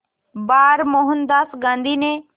बार मोहनदास गांधी ने